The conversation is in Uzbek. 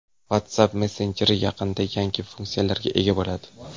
WhatsApp messenjeri yaqinda yangi funksiyalarga ega bo‘ladi.